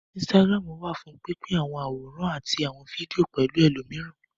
Instagram wà fún pín pín àwọn àwòrán àti àwọn fídíò pẹ̀lú ẹlòmíràn